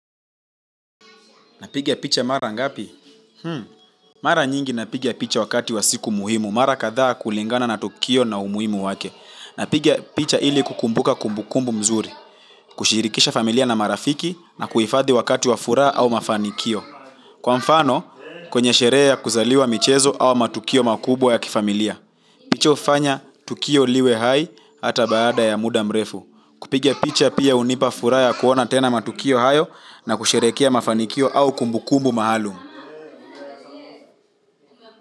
Napiga picha mara ngapi? Mara nyingi napiga picha wakati wa siku muhimu. Mara kadhaa kulingana na tukio na umuhimu wake. Napiga picha ili kukumbuka kumbukumbu mzuri. Kushirikisha familia na marafiki na kuhifadhi wakati wa furaha au mafanikio. Kwa mfano, kwenye sherehe ya kuzaliwa michezo au matukio makubwa ya kifamilia. Picha hufanya tukio liwe hai hata baada ya muda mrefu. Kupiga picha pia hunipa furaha ya kuona tena matukio hayo na kusherehekea mafanikio au kumbukumbu maalum.